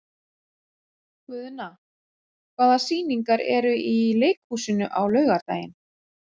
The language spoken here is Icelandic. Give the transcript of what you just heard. Guðna, hvaða sýningar eru í leikhúsinu á laugardaginn?